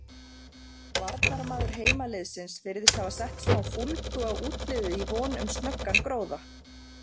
Varnarmaður heimaliðsins virðist hafa sett smá fúlgu á útiliðið í von um snöggan gróða.